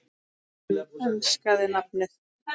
Hann enskaði nafnið